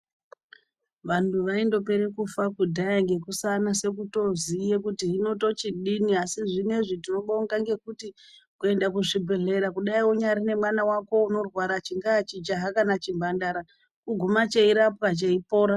Vanhu vaindopere kudhaya ngekusanase kutoziya kuti hino tochidini asi zvinezvi tinobonga maningi ngekuti kuenda kuzvibhehlera kudai unyari nemwana wako unorwara chingaa chijaha kana chimhandara kuguma cheirapwa cheipora.